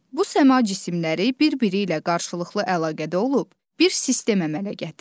Bu səma cisimləri bir-biri ilə qarşılıqlı əlaqədə olub, bir sistem əmələ gətirir.